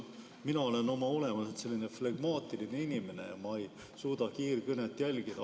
Mina olen oma olemuselt flegmaatiline inimene ega suuda kiirkõnet jälgida.